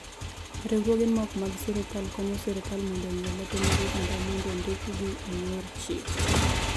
Riwruoge ma ok mag sirkal konyo sirkal mondo ong’e lope mag oganda mondo ondikigi e yor chik.